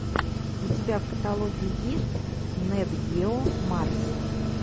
у тебя в каталоге есть нет гео марс